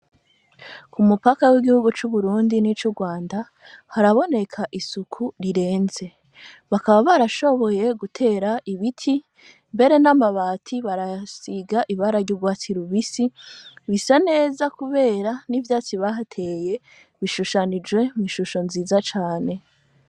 Ku mupaka w'igihugu c'uburundi n'ico urwanda haraboneka isuku rirenze , bakaba barashoboye gutera ibiti mbere n'amabati barasiga ibara ry'urwatsilubisi, bisa neza kubera n'ivyatsi bahateye bishushanije mw'ishusho nziza cane.